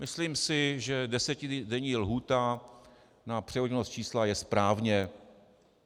Myslím si, že desetidenní lhůta na převoditelnost čísla je správně.